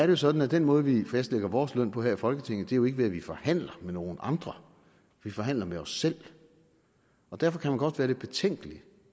jo sådan at den måde vi fastlægger vores løn på her i folketinget jo ikke er ved at vi forhandler med nogle andre vi forhandler med os selv og derfor kan man godt være lidt betænkelig